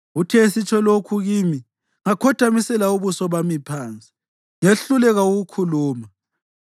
Uthe esitsho lokhu kimi ngakhothamisela ubuso bami phansi ngehluleka ukukhuluma.